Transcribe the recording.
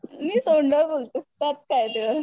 मी तोंडावर बोलते त्यात काय